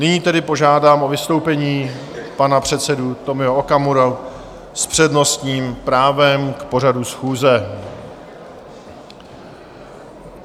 Nyní tedy požádám o vystoupení pana předsedu Tomia Okamuru s přednostním právem k pořadu schůze.